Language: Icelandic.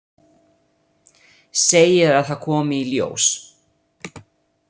Segir að það komi í ljós.